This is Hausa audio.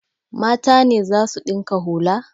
Mata ne za su ɗinka hula?